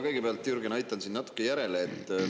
Kõigepealt, Jürgen, ma aitan sind natukene järele.